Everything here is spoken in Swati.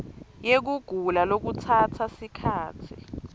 yekugula lokutsatsa sikhatsi